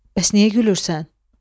Bəs niyə gülürsən?